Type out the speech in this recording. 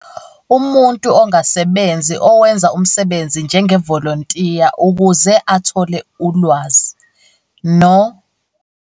Umuntu ongasebenzi owenza umsebenzi njengevolontiya ukuze athole ulwazi, no.